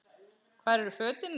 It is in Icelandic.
Hvar eru fötin mín?